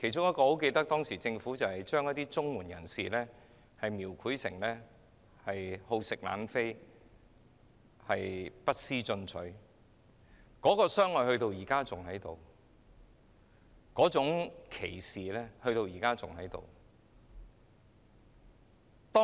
我記得其中之一是把領取綜援人士描繪成好逸惡勞、不思進取的一群，那種傷害和歧視至今仍然存在。